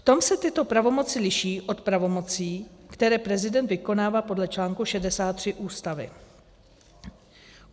V tom se tyto pravomoce liší od pravomocí, které prezident vykonává podle článku 63 Ústavy.